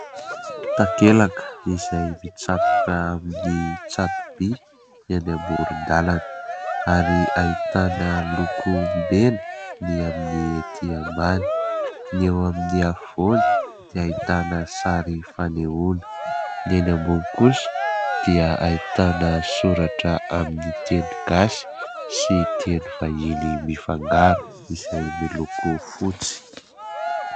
Takelaka izay mitsatoka amin'ny tsato-by eny amoron-dalana ary ahitana loko mena ny amin'ny etỳ ambany, ny eo amin'ny afovoany dia ahitana sary fanehoana, ny eny ambony kosa dia ahitana soratra amin'ny teny gasy sy teny vahiny mifangaro, izay miloko fotsy.